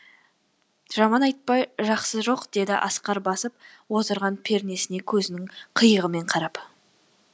жаман айтпай жақсы жоқ деді асқар басып отырған пернесіне көзінің қиығымен қарап